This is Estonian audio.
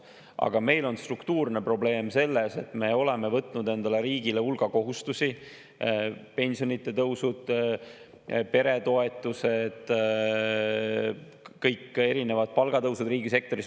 Aga meil on struktuurne probleem selles, et me oleme võtnud endale, riigile hulga kohustusi: pensionitõus, peretoetused, kõik erinevad palgatõusud riigisektoris.